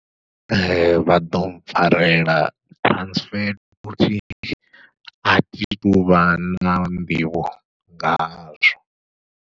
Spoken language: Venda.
Vha ḓo mpfharela transfer duty athi tuvha na nḓivho nga hazwo.